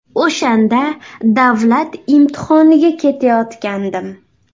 O‘shanda davlat imtihoniga ketayotgandim.